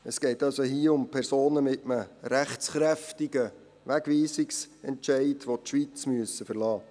» Es geht hier also um Personen mit einem rechtskräftigen Wegweisungsentscheid, welche die Schweiz verlassen müssen.